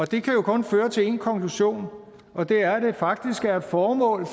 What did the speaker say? det kan jo kun føre til én konklusion og det er at det faktisk er et formål i